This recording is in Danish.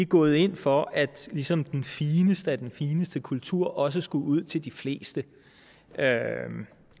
gået ind for at ligesom den fineste af den fineste kultur også skulle ud til de fleste